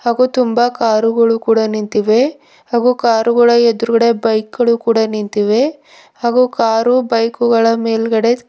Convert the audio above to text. ಹಾಗೂ ತುಂಬಾ ಕಾರು ಗಳು ಕೂಡ ನಿಂತಿವೆ ಹಾಗೂ ಕಾರ್ ಗಳ ಎದುರುಗಡೆ ಬೈಕ್ ಗಳು ಕೂಡ ನಿಂತಿವೆ ಹಾಗೂ ಕಾರು ಬೈಕ್ ಗಳ ಮೇಲ್ಗಡೆ --